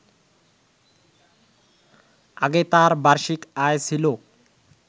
আগে তার বার্ষিক আয় ছিল